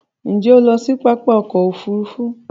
Nje o lo si papa oko ofu